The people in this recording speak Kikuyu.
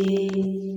Ĩĩ